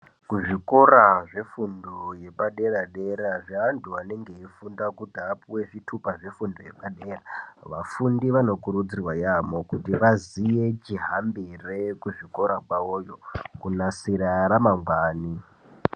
Kuzvikora zvefundo yepadera dera zvevantu vanofunda kuti vapuwe zvitupa zvefundo yepadera , vafundi vanokuridzirwa yaambo kuti vaziye chihambiro kuzvikora kwavoyo kunasire ramangwana.